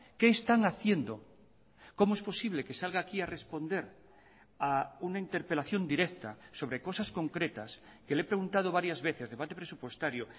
qué están haciendo cómo es posible que salga aquí a responder a una interpelación directa sobre cosas concretas que le he preguntado varias veces debate presupuestario